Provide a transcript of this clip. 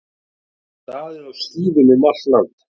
Staðið á skíðum um allt land